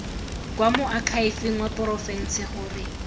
kwa moakhaefeng wa porofense gore